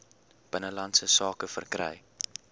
binnelandse sake verkry